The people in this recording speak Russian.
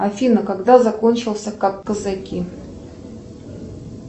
афина когда закончился казаки